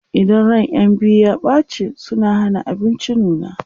idan ran ƴan biyu ya ɓace suna Hana abinci nuna